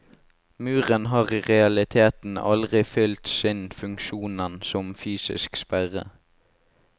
Muren har i realiteten aldri fyllt sin funksjonen som fysisk sperre.